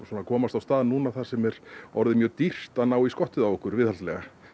að komast á stað núna þar sem er orðið mjög dýrt að ná í skottið á okkur viðhaldslega